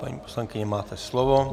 Paní poslankyně, máte slovo.